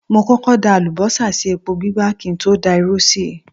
Mo kọ́kọ́ da àlùbọ́sà sí epo gbígbá kí n tó da irú sí i.